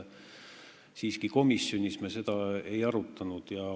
Siiski, komisjonis me seda ei arutanud.